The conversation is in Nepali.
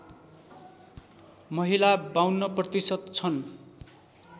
महिला ५२ प्रतिशत छन्